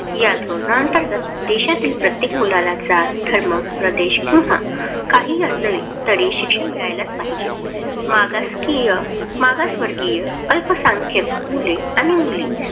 या धोरणांतर्गत देशातील प्रत्येक मुलाला जात, धर्म, प्रदेश किंवा काहीही असले तरी शिक्षण मिळाले पाहिजे. मागासवर्गीय, अल्पसंख्याक मुले, मुली